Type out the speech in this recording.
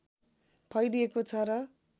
फैलिएको छ र